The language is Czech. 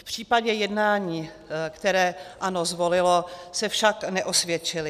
V případě jednání, které ANO zvolilo, se však neosvědčily.